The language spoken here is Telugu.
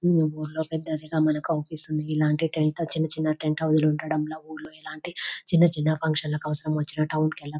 ఈ ఊర్లో పెద్దదిగా మనకి అవుపిస్తుంది ఇలాంటి టెంట చిన్న చిన్న టెంట హౌసు లు ఉండడం వల్ల ఊళ్ళో ఎలాంటి చిన్న చిన్న ఫంక్షన్ లకి అవసరం వచ్చిన టౌన్ కెల్ల --